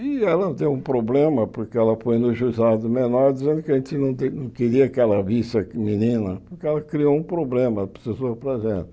E ela deu um problema, porque ela foi no Juizado Menor dizendo que a gente não queria que ela visse a menina, porque ela criou um problema, precisou para a gente.